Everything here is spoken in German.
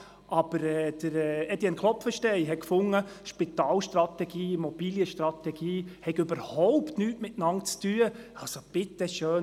Aber Etienne Klopfenstein fand, die Spital- und die Immobilienstrategie hätten überhaupt nichts miteinander zu tun – bitte schön: